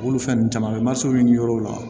Olu fɛn ninnu caman bɛ masaw ɲini yɔrɔw la